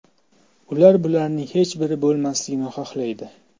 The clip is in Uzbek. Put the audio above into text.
Ular bularning hech biri bo‘lmasligini xohlaydi.